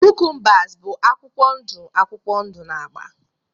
cucumbers bụ akwụkwọ ndụ akwụkwọ ndụ na agba